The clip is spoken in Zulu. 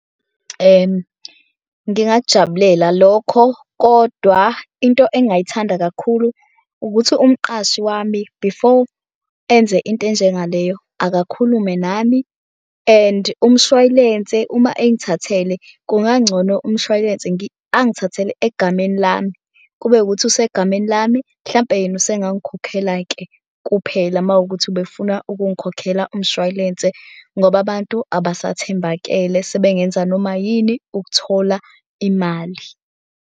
Ngingakujabulela lokho, kodwa into engayithanda kakhulu ukuthi umqashi wami before enze into enjengaleyo akakhulume nami and umshwalense uma engithathele kungangcono umshwalense angithathele egameni lami. Kube ukuthi usegameni lami mhlampe yena usengangikhokhela-ke kuphela uma wukuthi ubefuna ukungikhokhela umshwalense ngoba abantu abasathembakele sebengenza noma yini ukuthola imali.